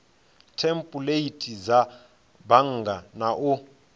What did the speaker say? thempuleithi dza bannga na u